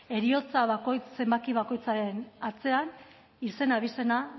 heriotza zenbaki bakoitzaren atzean izen abizenak